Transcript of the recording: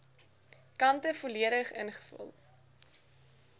kante volledig ingevul